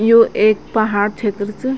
यो ऐक पहाड़ क्षेत्र च।